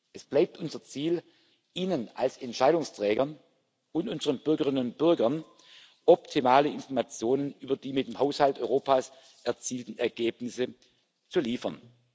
Es bleibt unser Ziel, Ihnen als Entscheidungsträgern und unseren Bürgerinnen und Bürgern optimale Informationen über die mit dem Haushalt Europas erzielten Ergebnisse zu liefern.